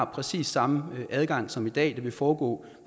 præcis samme adgang som i dag det vil foregå